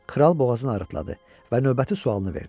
Kral boğazını arıtladı və növbəti sualını verdi.